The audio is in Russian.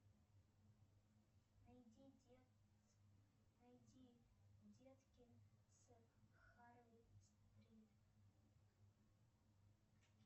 найди детк найди детки с харви стрит